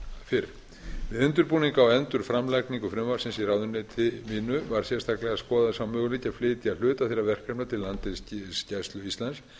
fyrr við undirbúning á endurframlagningu frumvarpsins í ráðuneyti mínu var sérstaklega skoðaður sá möguleiki að flytja hluta þeirra verkefna til landhelgisgæslu íslands